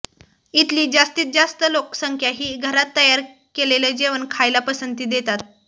इथली जास्तीत जास्त लोकसंख्या ही घरात तयार केलेलं जेवण खायला पसंती देतात